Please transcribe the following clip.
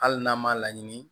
Hali n'an m'a laɲini